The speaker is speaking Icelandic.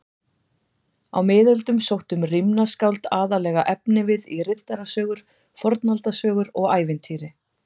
Á miðöldum sóttu rímnaskáld aðallega efnivið í riddarasögur, fornaldarsögur og ævintýri.